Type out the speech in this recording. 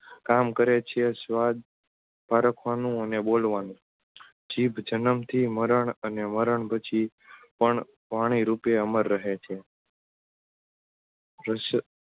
કામકારે છે સ્વાદ પારખવાનું અને બોલવાનું જીભ જન્મથી મરણ અને મરણ પછી પણ વાણી રૂપે અમ્ર રહે છે રસ